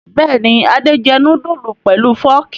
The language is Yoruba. Bẹ́ẹ̀ ni, Adé jẹ núdúlù pẹ̀lú fọ́ọ́kì.